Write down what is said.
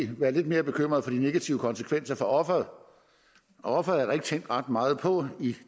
være lidt mere bekymret for de negative konsekvenser for offeret og offeret er der ikke tænkt ret meget på i